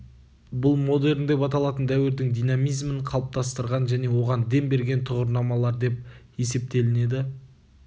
бұл модерн деп аталатын дәуірдің динамизмін қалыптастырған және оған дем берген тұғырнамалар деп есептелінеді